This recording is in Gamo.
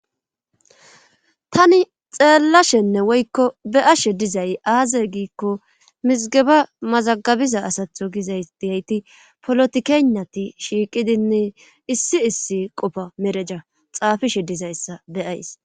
tani xeellashenne woykko be'ashe dizay aaze giikko mizigeba mazagabiza asatho gizay diyayti polotikeeyinati shiiqidinne issi issi qofa mereja xaafishe dizayssa be'ays